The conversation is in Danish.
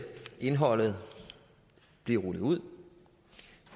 indholdet blive rullet ud